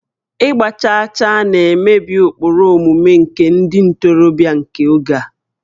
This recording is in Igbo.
Ịgba chaachaa na-emebi ụkpụrụ omume nke ndị ntorobịa nke oge a